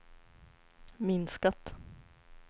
minskat